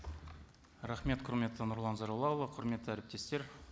рахмет құрметті нұрлан зайроллаұлы құрметті әріптестер